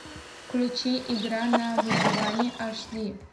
включи игра на выживание аш ди